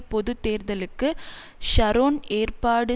பொது தேர்தளுக்கு ஷரோன் ஏற்பாடு